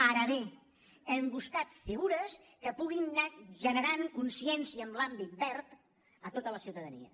ara bé hem buscat figures que puguin anar generant consciència en l’àmbit verd a tota la ciutadania